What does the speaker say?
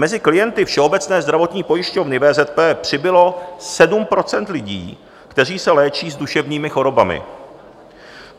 Mezi klienty Všeobecné zdravotní pojišťovny VZP přibylo 7 % lidí, kteří se léčí s duševními chorobami.